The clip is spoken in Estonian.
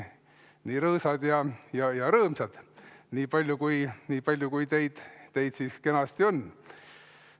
Nii rõõsad ja rõõmsad, niipalju kui teid siin kenasti on.